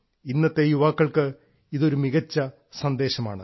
ഇന്നത്തെ യുവാക്കൾക്ക് ഇതൊരു മികച്ച സന്ദേശമാണ്